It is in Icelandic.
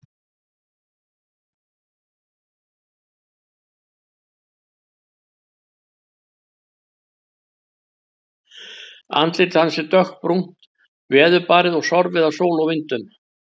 Andlit hans er dökkbrúnt, veðurbarið og sorfið af sól og vindum.